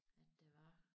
At det var